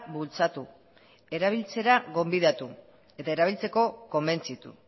bultzatu erabiltzera gonbidatu eta erabiltzeko konbentzitu